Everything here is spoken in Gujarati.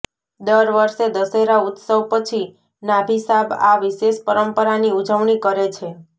દર વર્ષે દશેરા ઉત્સવ પછી નાભિસાબ આ વિશેષ પરંપરાની ઉજવણી કરે છે